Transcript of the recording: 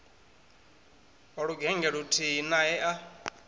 wa lugennge luthihi nae a